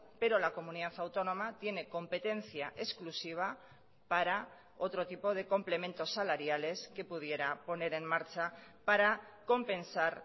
pero la comunidad autónoma tiene competencia exclusiva para otro tipo de complementos salariales que pudiera poner en marcha para compensar